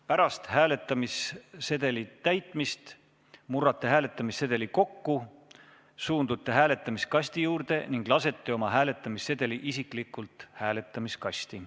Pärast hääletamissedeli täitmist murrate hääletamissedeli kokku, suundute hääletamiskasti juurde ning lasete oma hääletamissedeli isiklikult hääletamiskasti.